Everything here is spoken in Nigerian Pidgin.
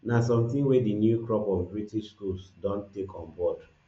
na sometin wey di new crop of british schools don take on board